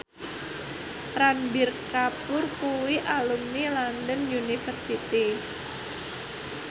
Ranbir Kapoor kuwi alumni London University